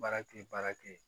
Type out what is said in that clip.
Baara kɛ baara kɛ yen